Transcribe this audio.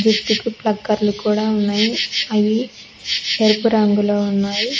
జుట్టుకు ప్లక్కెర్లు కూడా ఉన్నాయి అవి ఎరుపు రంగులో ఉన్నాయి.